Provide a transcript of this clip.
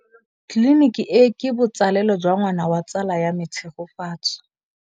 Tleliniki e, ke botsalêlô jwa ngwana wa tsala ya me Tshegofatso.